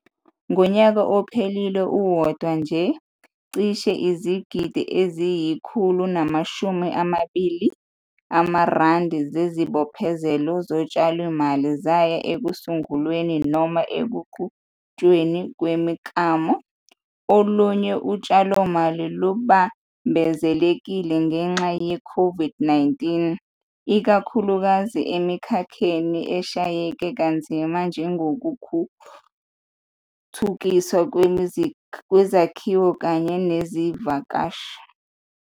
Uma ukhetha ukuncelisa ibele, qinisekisa ukuthi umuncelisa ibele kuphela isikhathi esiyizinyanga eziyisithupha.